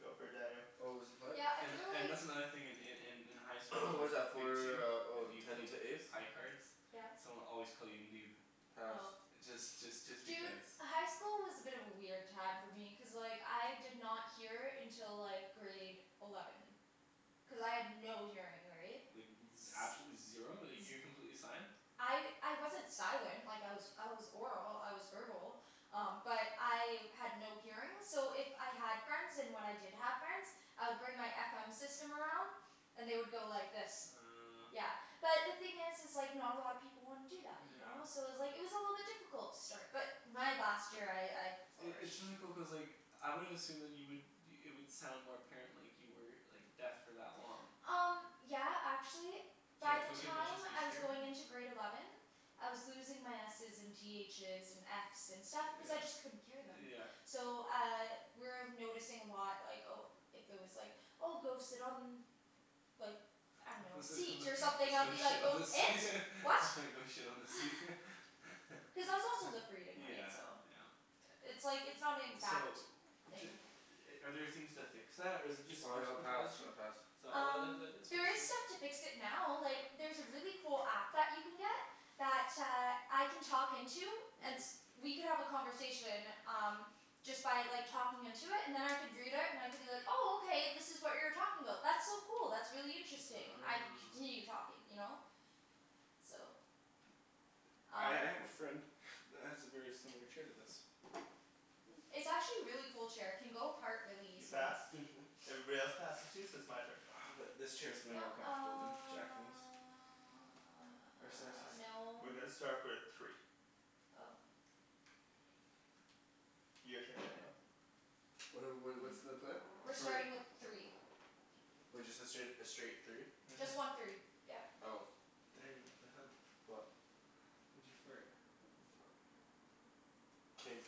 Go for it Daniel. What was the play? Yeah, I And feel and like that's another in in in in high school, What is that Big Two for, oh if you ten played to ace? high cards Yes? someone would always call you noob. Pass. Oh. Just just just Dude, because. high school was a bit of a weird time for me, cuz like, I did not hear until like grade eleven. Cuz I had no hearing, right? Like z- absolutely zero? Like you were completely sign? I I wasn't silent, like I was I was oral, I was verbal. Um but I had no hearing, so if I had friends, and when I did have friends I would bring my FM system around. And they would go like this. Uh Yeah. But the thing is is like, not a lot of people wanna do that, you know? So Yeah. it was like, it was a little bit difficult to start. But my last year I, I I- it's flourished. really cool, cuz like I wouldn't assume then you would, it would sound more apparent like you were like deaf for that long. Um yeah, actually Did you by have to the go through a bunch of time speech I was therapy? going into grade eleven I was losing my S's and T H's and F's and stuff cuz I Yeah. just couldn't hear them. Yeah. So uh, we were noticing a lot like, oh if if there was like, oh go sit on like I dunno, a let's go seat or something, I would be like, shit on "Go the seat. it? What?" Go shit on the seat. Cuz I was also lip reading, right? Yeah, So yeah. It's like, it's not an So exact d- are there things to fix that? Or is it just Oh speech yeah, I'll pass, pathology? I pass. Um, there is stuff to fix it now, like there's a really cool app that you can get that uh, I can talk into and Mhm. we could have a conversation, um just by like talking into it, and then I could read it and I could be like, oh okay this is what you were talking about. That's so cool, that's really interesting. I could Oh. continue talking, you know? So I Um I have a friend that has a very similar chair to this. Hmm. It's actually a really cool chair, it can go apart really You easily. passed? Mhm. Everybody else passes too? So it's my turn. Uh but this chair's way No, more comfortable than Jacklyn's. uh no. We're gonna start with three. Oh. Your turn Daniel. What are wh- what's the play? We're Three. starting with three. Wait, just the straight, a straight three? Mhm. Just one three, yeah. Oh. Daniel, what the hell? What? Why'd you fart? King.